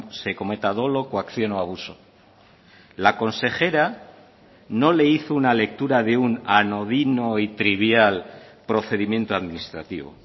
se cometa dolo coacción o abuso la consejera no le hizo una lectura de un anodino y trivial procedimiento administrativo